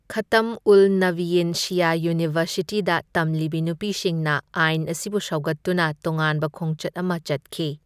ꯈꯇꯝ ꯎꯜ ꯅꯕꯤꯌꯤꯟ ꯁꯤꯌꯥ ꯌꯨꯅꯤꯚꯔꯁꯤꯇꯤꯗ ꯇꯝꯂꯤꯕꯤ ꯅꯨꯄꯤꯁꯤꯡꯅ ꯑꯥꯏꯟ ꯑꯁꯤꯕꯨ ꯁꯧꯒꯠꯇꯨꯅ ꯇꯣꯉꯥꯟꯕ ꯈꯣꯡꯆꯠ ꯑꯃ ꯆꯠꯈꯤ꯫